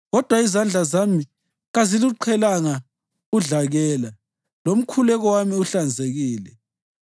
kodwa izandla zami kaziluqhelanga udlakela, lomkhuleko wami uhlanzekile.